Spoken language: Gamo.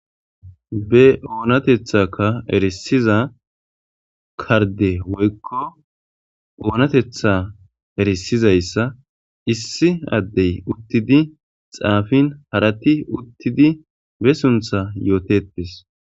Be onatethaka erisiza karde woyko onatetha erisizaysa issi adey utidi xafen harati utidi be suntha yotetes